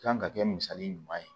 Kan ka kɛ misali ɲuman ye